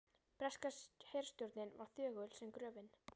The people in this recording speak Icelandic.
Breska herstjórnin var þögul sem gröfin.